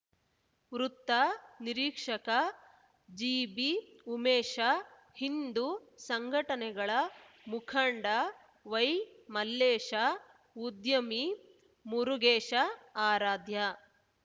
ವೃತ್ತ ನಿರೀಕ್ಷಕ ಜಿಬಿ ಉಮೇಶ ಹಿಂದು ಸಂಘಟನೆಗಳ ಮುಖಂಡ ವೈಮಲ್ಲೇಶ ಉದ್ಯಮಿ ಮುರುಗೇಶ ಆರಾಧ್ಯ